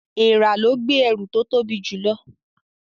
Èèrà lẹ gbé ẹrù tó tobi jù ló